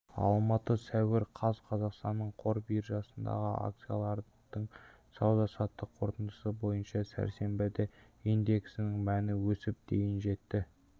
алматы сәуір қаз қазақстан қор биржасындағы акциялардың сауда-саттық қорытындысы бойынша сәрсенбіде индексінің мәні өсіп дейін жетті